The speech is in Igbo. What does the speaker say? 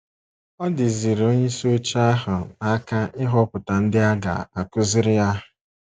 Ọ dịziiri onyeisi oche ahụ n’aka ịhọpụta ndị a ga - akụziri ya.